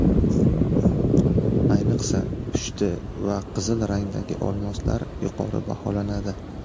Ayniqsa pushti va qizil rangdagi olmoslar yuqori baholanadi.